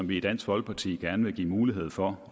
vi i dansk folkeparti gerne vil give mulighed for